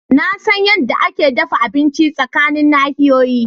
Na san yadda ake dafa abinci tsakanin nahiyoyi.